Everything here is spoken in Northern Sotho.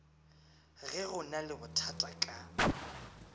ge go na lebothata ka